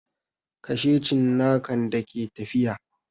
Kashe cinnakan da ke tafiya!